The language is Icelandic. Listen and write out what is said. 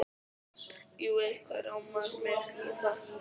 Jú, eitthvað rámar mig í það.